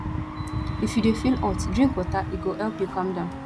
if you dey feel hot drink water e go help you calm down